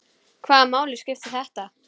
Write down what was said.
Hvaða máli skipti þetta?